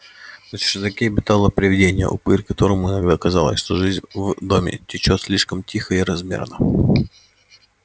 на чердаке обитало привидение упырь которому иногда казалось что жизнь в доме течёт слишком тихо и размерно